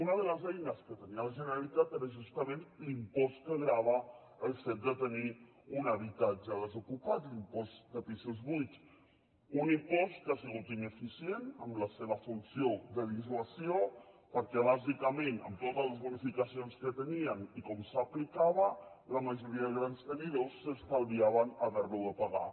una de les eines que tenia la generalitat era justament l’impost que grava el fet de tenir un habitatge desocupat l’impost de pisos buits un impost que ha sigut ineficient en la seva funció de dissuasió perquè bàsicament amb totes les bonificacions que tenien i com s’aplicava la majoria de grans tenidors s’estalviaven haver lo de pagar